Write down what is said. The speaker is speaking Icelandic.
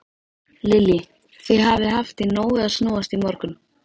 Lillý: Þið hafið haft í nógu að snúast í morgun?